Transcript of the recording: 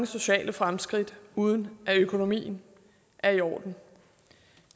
sociale fremskridt uden at økonomien er i orden